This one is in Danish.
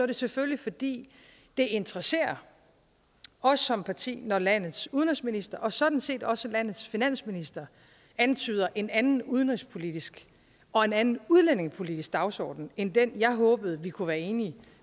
det selvfølgelig fordi det interesserer os som parti når landets udenrigsminister og sådan set også landets finansminister antyder en anden udenrigspolitisk og en anden udlændingepolitisk dagsorden end den jeg håbede vi kunne være enige